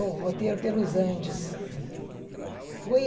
O roteiro pelos Andes. Foi